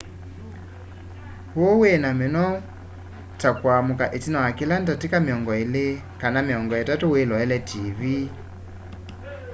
ũũ wĩ na mĩnoo ta kũamũka ĩtina wa kĩla ndatĩka mĩongoĩ ilĩ kana mĩongo ĩtatũ wĩloele tiivii